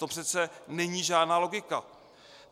To přece není žádná logika.